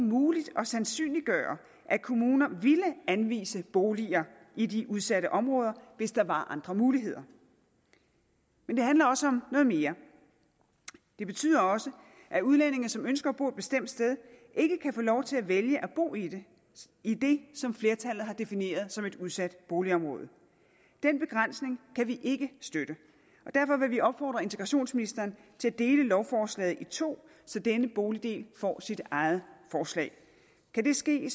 muligt at sandsynliggøre at kommuner ville anvise boliger i de udsatte områder hvis der var andre muligheder men det handler også om noget mere det betyder også at udlændinge som ønsker at bo et bestemt sted ikke kan få lov til at vælge at bo i i det som flertallet har defineret som et udsat boligområde den begrænsning kan vi ikke støtte og derfor vil vi opfordre integrationsministeren til at dele lovforslaget i to så denne boligdel får sit eget forslag kan det ske